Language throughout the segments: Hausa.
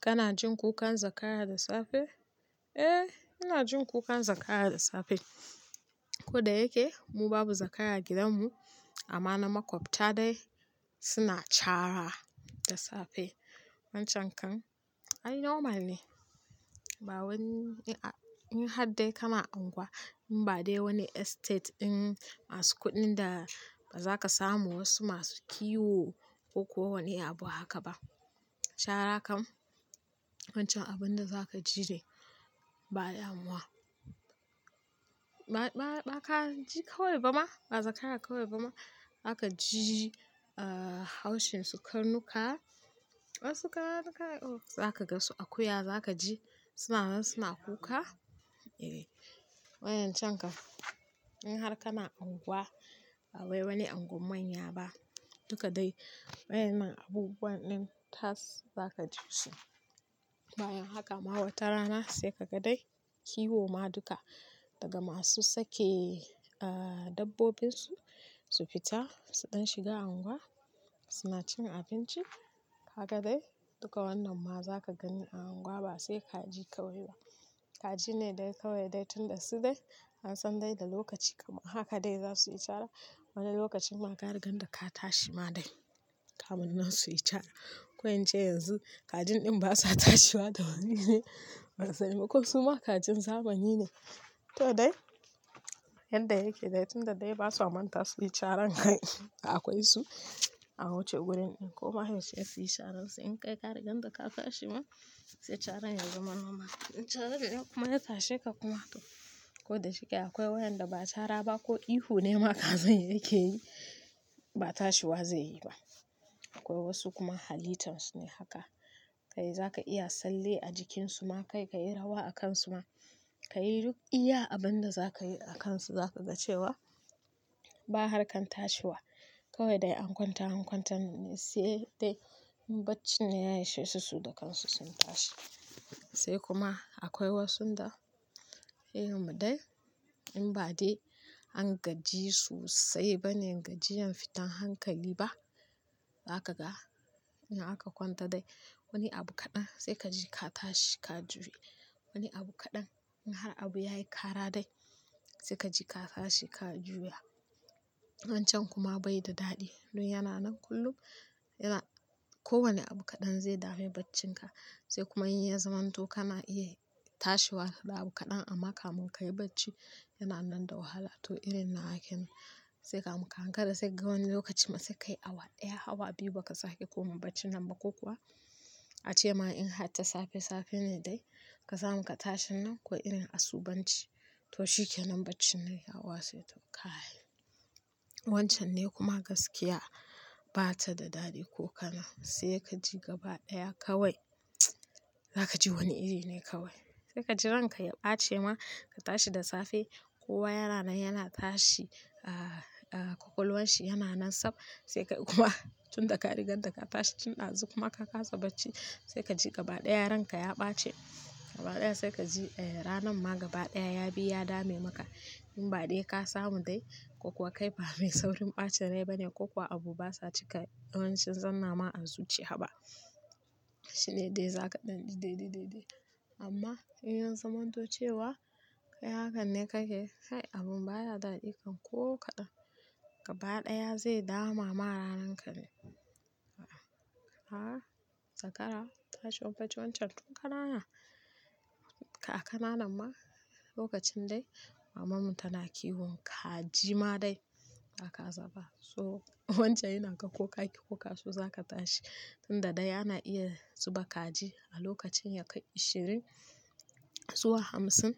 Kana jin kukan zakara da safe? Eh, ina jin kukan zakara da safe. Ko da yake mu babu zakara gidanmu amma na makwabta dai suna chara da safe. Wancan kan ai normal ne. Ba wani-- in har dai kana unguwa in ba dai wani estate din masu kuɗin da ba za ka samu wasu masu kiwo ko kowane abu haka ba. Cara kam, wancan abun da za ka ji re ba damuwa. Ba, ba ka ji kawai ba ma, ba zakara kawai ba ma. Za ka ji, ah, haushin su karnuka. Wasu karan ka yi oh, za ka ga su akuya za ka ji suna nan suna kuka. Eh, wa'yancan ka. In har kana unguwa ba wai wani unguwar manya ba duka dai wayannan abubuwan din tas za ka ji su. Bayan haka ma wata rana sai ka ga dai kiwo ma duka daga masu sake dabbobinsu su fita suɗan shiga unguwa suna cin abinci. Kaga dai duka wannan ma za ka gani a unguwa ba sai kaji kawai ba. Kaji ne dai kawai dai tun da su dai an san dai da lokaci kuma haka dai za su yi cara. Wani lokacin ma ka riga da ka tashi ma dai kamun nan su yi cara. Ko in ce yanzu kajin din basa tashiwa da wuri ne? Ban sani ko su ma kajin zamani ne? To dai yadda yake dai tun da dai ba sa manta su yi caran kai akwai su an wuce wurin, ko ma yaushe su yi caran su. In kai ka riga da ka tashi ma sai caran yazama--. In caran ya kuma ya tashe ka kuma to. Ko da shike akwai wayan da ba cara ba ko ihu ne ma kazan yake yi ba tashi wa zai yi ba. Akwai wasu kuma halitan su ne haka. Kai za ka iya tsalle a jikin su ma kai, ka yi rawa a kan su ma. Ka yi duk iya abin da za ka yi a kan su za ka ga cewa ba harkan tashi wa. Kawai dai an kwanta an kwanta ne sai dai in bacci ne ya ishe su, su da kansu sun tashi. Sai kuma akwai wasun da yayin mu dai in ba dai an gaji sosai ba ne gajiyan fitan hankali ba. Za ka ga in aka kwanta dai wani abu kaɗan sai ka ji ka tashi ka juya. Wani abu kaɗan in har abu ya yi kara dai sai ka ji ka tashi ka juya. Wancan kuma bai da daɗi. Don yana nan kullum yana-- kowane abu kaɗan zai dame baccin ka. Sai kuma in yazamanto kana iya tashi wa da abu kaɗan amma kamun ka yi bacci yana nan da wahala. To irin nawa kenan, sai kamun ka ankara sai ga wani lokacin ma sai kai awa ɗaya awa biyu ba ka sake koma bacci nan ba ko kuwa a ce ma in har ta safe safe ne dai ka samu ka tashi nan ko irin asubunci to shikenan bacci nan ya watse, to kai wancan ne kuma gaskiya ba ta da daɗi ko kana sai ka ji gaba ɗaya kawai za ka ji wani iri ne kawai. Sai ka ji ranka ya ɓace ma ka tashi da safe kowa yana nan yana tashi, kwakwalwan shi yana nan sab. Sai kai kuma tunda ka riga da ka tashi tun dazu kuma ka kasa bacci, sai ka ji gaba daya ranka ya baci gaba ɗaya sai ka ji ranan ma gaba ɗaya ya bi ya dame maka. In ba dai ka samu dai ko kuwa kai ba mai saurin ɓacin rai bane ko kuwa abu basa cika yawancin zanna ma arziki haba. Shine dai zaka dan ji dai dai dai dai amma in ya zamanto cewa kai hakan ne kake kai abun baya daɗika ko kaɗan. Gaba ɗaya zai dama ma ranan ka ne. A'a zakara ta shon bacci wancan tun ka na nan. A kananan ma lokacin dai maman mu tana kiwo kaji ma dai ba ka zaba. So wancan yana ga ko kaki ko kaso za ka tashi. Tun da dai ana iya zuba kaji a lokacin ya kai ashirin zuwa hamsin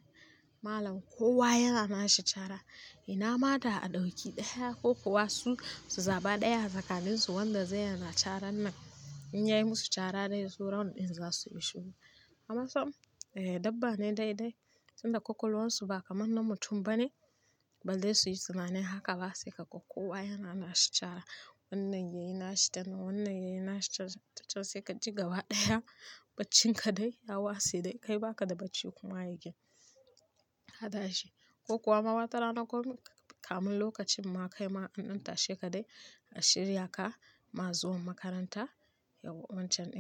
malam kowa yana nashi cara. Ina ma da a ɗauki ɗaya ko kuwa su, su zaɓa ɗaya a tsakanin su wanda zai yi yana caran nan. In yayi musu cara dai sauran ɗin za su yi shiru. Amma sam dabba ne dai dai tun da kwakwalwan su ba kamar na mutum ba ne. Ba dai su yi tunanin haka ba sai ka ga kowa yana nashi cara. Wannan yayi nashi tanan, wannan yayi nashi ta can sai ka ji gaba ɗaya baccin ka dai ya wasi dai kai baka da bacci kuma again, katashi. Ko kuwa ma wata rana ko kamun lokacin ma kai ma in an tashe ka dai a shirya ka ma zuwan makaranta yawancin dai.